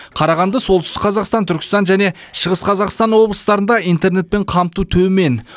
қарағанды солтүстік қазақстан түркістан және шығыс қазақстан облыстарында интернетпен қамту төмен